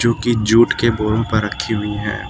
कि जुट के बोरों पर रखी हुई है।